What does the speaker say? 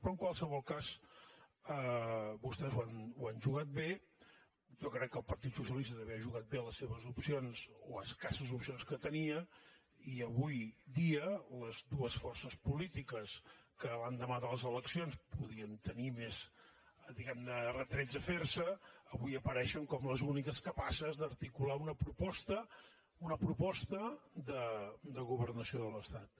però en qualsevol cas vostès ho han jugat bé jo crec que el partit socialista també ha jugat bé les seves opcions o escasses opcions que tenia i avui dia les dues forces polítiques que l’endemà de les eleccions podien tenir més diguem ne retrets a fer se avui apareixen com les úniques capaces d’articular una proposta una proposta de governació de l’estat